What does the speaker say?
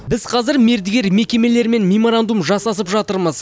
біз қазір мердігер мекемелермен меморандум жасасып жатырмыз